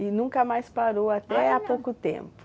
E nunca mais parou, até há pouco tempo?